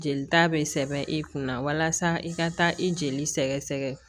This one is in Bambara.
Jelita bɛ sɛbɛn e kunna walasa i ka taa i jeli sɛgɛ sɛgɛ